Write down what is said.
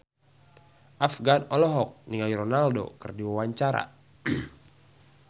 Afgan olohok ningali Ronaldo keur diwawancara